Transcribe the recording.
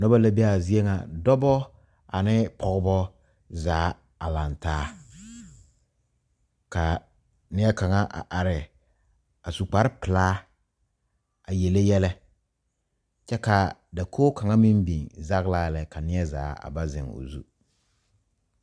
Noba la be a zie ŋa dɔbɔ ane pɔgebɔ zaa a lantaa ka neɛkaŋa a are su kpare pelaa a yele yɛlɛ kyɛ ka dakogi kaŋa meŋ biŋ zagela lɛ ka neɛzaa ba zeŋ o zu.